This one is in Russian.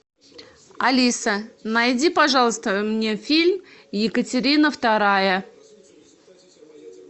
алиса найди пожалуйста мне фильм екатерина вторая